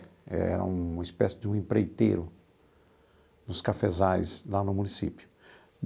Era uma espécie de um empreiteiro dos cafezais lá no município.